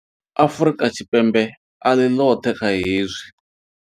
Afrika Tshipembe a ḽi ḽoṱhe kha hezwi.